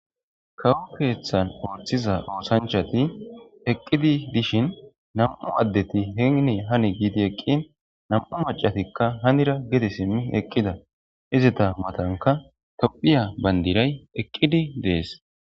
kawo keeththan ooththiza oosanchati eqqidi dishin nam7u addeti heenni hani giidi eqqin nam7u macatikka hanira gede simmi eqqida izita matanka tophiya bandiray eqqidi dees